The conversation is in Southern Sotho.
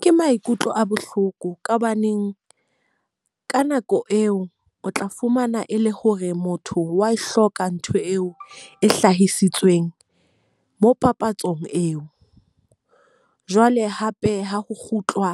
Ke maikutlo a bohloko, ka hobaneng ka nako eo o tla fumana e le hore motho wa e hloka ntho eo e hlahisitsweng mo papatsong eo. Jwale hape ha ho kgutlwa